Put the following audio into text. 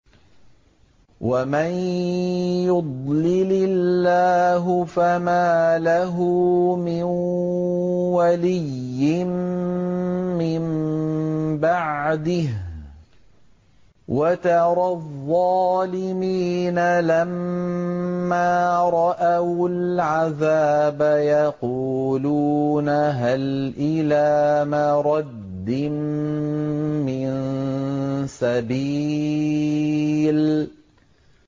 وَمَن يُضْلِلِ اللَّهُ فَمَا لَهُ مِن وَلِيٍّ مِّن بَعْدِهِ ۗ وَتَرَى الظَّالِمِينَ لَمَّا رَأَوُا الْعَذَابَ يَقُولُونَ هَلْ إِلَىٰ مَرَدٍّ مِّن سَبِيلٍ